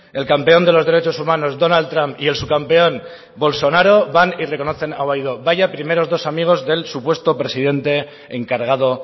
el campeón de los derechos humanos donald trump y el subcampeón bolsonaro van y reconocen a guaidó vaya primeros dos amigos del supuesto presidente encargado